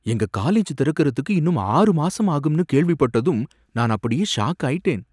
எங்க காலேஜ் திறக்கறதுக்கு இன்னும் ஆறு மாசம் ஆகும்னு கேள்விப்பட்டதும் நான் அப்படியே ஷாக் ஆயிட்டேன்.